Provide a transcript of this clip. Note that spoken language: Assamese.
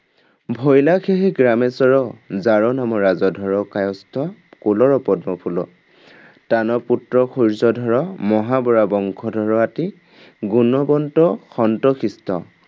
ভৈলা সেহি গ্ৰামেশ্বৰ যাৰ নাম ৰাজধৰ কায়স্থ কুলৰ পদ্মফুল॥ তান পুত্ৰ সূৰ্যধৰ মহা বৰা বংশধৰ আতি গুণৱন্ত সন্ত শিষ্ট।